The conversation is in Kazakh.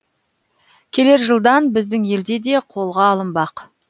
келер жылдан біздің елде де қолға алынбақ